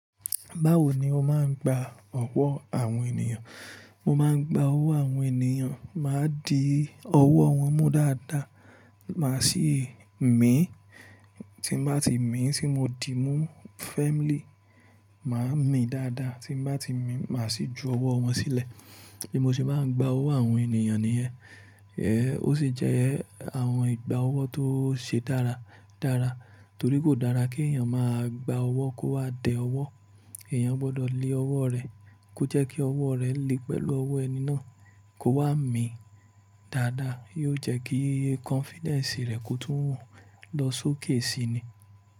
Báwo ni o máa ń gba ọwọ́ àwọn ènìyàn? Mo máa ń gba owó àwọn ènìyàn, màá di ọwọ́ wọn mú dáadáa, màá sì mí, tí ń bá ti mì tí mo di mú firmly, màá mì dáadáa, tí ń bá ti mì, màá sì ju ọwọ́ wọn sílẹ̀. Bí mo ṣe máa ń gba owó àwọn ènìyàn nìyẹn. Ẹ̀ ó sì jẹ́ àwọn ìgba owó tó ṣe dára, dára, torí kò dára kí èèyàn máa gba ọwọ́ kó wá dẹ ọwọ́. Ẹ̀yán gbọ́dọ̀ le ọwọ́ rẹ̀ kó jẹ́ kí ọwọ́ rẹ le pẹ̀lú ọwọ́ ẹni náà kó wá mì dáadáa, yóò jẹ́ kí confidence rẹ kó tún wọ́n lọ sókè si ni.